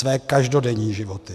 Své každodenní životy.